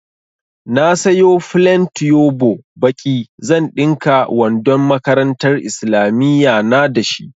Na sayo flen tuyobo baƙi, zan ɗinka wandon makarantar islamiyya na da shi.